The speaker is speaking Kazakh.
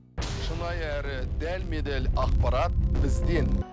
шынайы әрі дәлме дәл ақпарат бізден